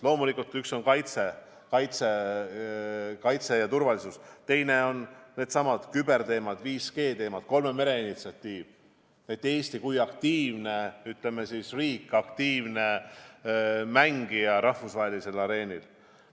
Loomulikult üks valdkond on kaitse ja turvalisus, teine on küberteemad, 5G teemad, kolme mere initsiatiiv, Eesti kui aktiivne riik, aktiivne mängija rahvusvahelisel areenil.